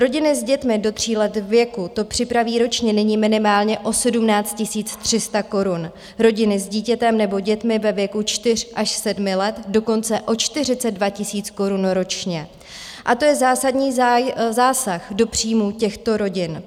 Rodiny s dětmi do tří let věku to připraví ročně nyní minimálně o 17 300 korun, rodiny s dítětem nebo dětmi ve věku čtyř až sedmi let dokonce o 42 000 korun ročně a to je zásadní zásah do příjmů těchto rodin.